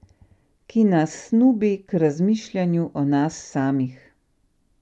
Ki nas snubi k razmišljanju o nas samih.